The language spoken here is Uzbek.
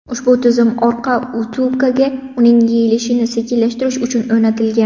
Ushbu tizim orqa vtulkaga uning yeyilishini sekinlashtirish uchun o‘rnatilgan.